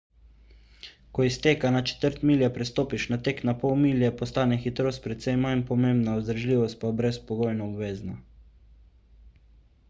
ko iz teka na četrt milje prestopiš na tek na pol milje postane hitrost precej manj pomembna vzdržljivost pa brezpogojno obvezna